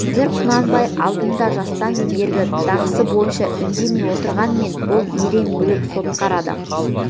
қазір құнанбай алдында жастан бергі дағдысы бойынша үндемей отырғанмен бұл ерен бүлік сотқар адам